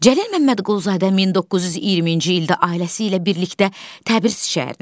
Cəlil Məmmədquluzadə 1920-ci ildə ailəsi ilə birlikdə Təbriz şəhərinə gedir.